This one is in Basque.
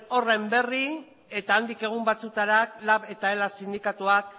horren berri eta handik egun batzuetara lab eta ela sindikatuak